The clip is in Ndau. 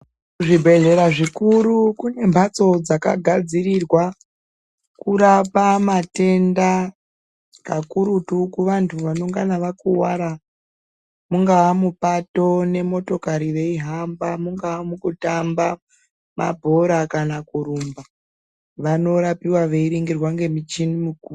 Kuzvibhedhlera zvikuru kune mphatso dzakagadzirirwa kurapa matenda kakurutu kuvanthu vanongana vakuwara, mungaa mupato nemotokari veihamba, mungaa mukutamba mabhora kana kurumba vanorapiwa veiringirwa ngemichini mikuru.